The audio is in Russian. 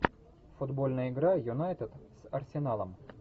футбольная игра юнайтед с арсеналом